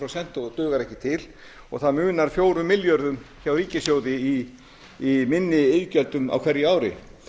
prósent og dugar ekki til og það munar fjórum milljörðum hjá ríkissjóði í minni iðgjöldum á hverju ári